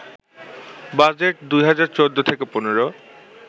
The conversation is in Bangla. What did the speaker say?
বাজেট ২০১৪-১৫